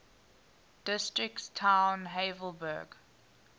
districts town havelberg